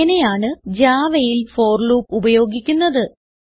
ഇങ്ങനെയാണ് Javaയിൽ for loop ഉപയോഗിക്കുന്നത്